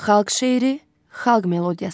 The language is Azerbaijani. Xalq şeiri, xalq melodiyası.